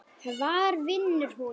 Hvar vinnur hún?